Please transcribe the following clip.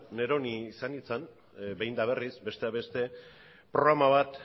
neroni izan nintzan behin eta berriz besteak beste programa bat